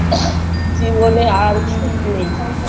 জীবনে আর সুখ নেই